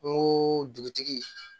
N ko dugutigi